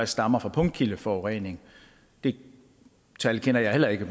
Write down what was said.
stammer fra punktkildeforurening det tal kender jeg heller ikke